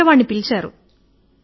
వంటవాడిని పిలిచాడు